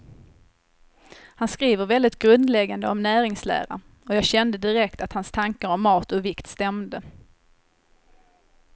Han skriver väldigt grundläggande om näringslära, och jag kände direkt att hans tankar om mat och vikt stämde.